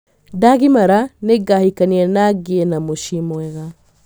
Ndagimara nĩ ngahikania na ngiĩ na muciĩ mwega.